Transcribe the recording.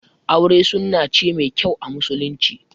Aure sunna ce mai kyau a musulunci